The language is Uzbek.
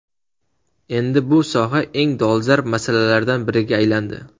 Endi bu soha eng dolzarb masalalardan biriga aylandi.